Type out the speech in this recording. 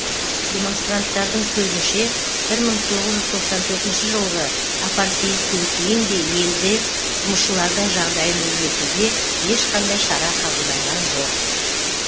демонстранттардың сөзінше бір мың тоғыз жүз тоқсан төртінші жылғы апартеидтен кейін де елде жұмысшылардың жағдайын өзгертуге ешқандай шара қабылданған жоқ